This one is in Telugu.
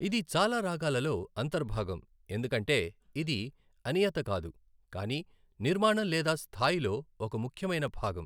ఇది చాలా రాగాలలో అంతర్భాగం, ఎందుకంటే ఇది అనియత కాదు, కానీ నిర్మాణం లేదా స్థాయిలో ఒక ముఖ్యమైన భాగం.